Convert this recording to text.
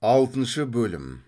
алтыншы бөлім